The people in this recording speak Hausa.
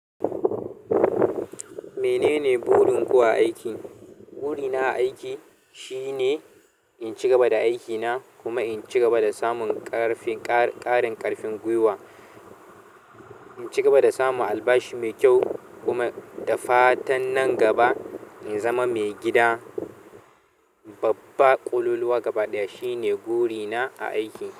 Menene burinku a aiki? Burina a aiki shine in cigaba da aikina kuma in cigaba da samun ƙarfin ƙarin ƙarfin gwiwa, in cigaba samun albashi mai kyau kuma da fatan nan gaba nazama mai gida babba ƙololuwa gaba ɗaya shine burina a aiki.